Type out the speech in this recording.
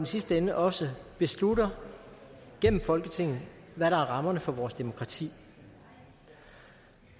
sidste ende også beslutter gennem folketinget hvad der er rammerne for vores demokrati